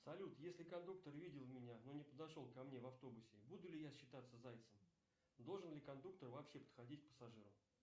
салют если кондуктор видел меня но не подошел ко мне в автобусе буду ли я считаться зайцем должен ли кондуктор вообще подходить к пассажирам